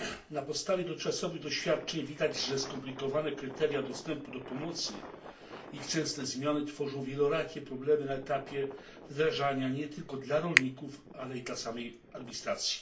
Na podstawie dotychczasowych doświadczeń widać, że skomplikowane kryteria dostępu do pomocy i ich częste zmiany tworzą wielorakie problemy na etapie wdrażania nie tylko dla rolników, ale i dla samej administracji.